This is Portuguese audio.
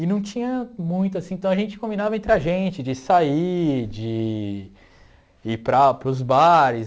E não tinha muito, assim, então a gente combinava entre a gente de sair, de ir para para os bares.